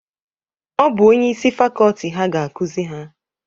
Ọ bụ onye isi fakọọti ha ga-akuzi ha.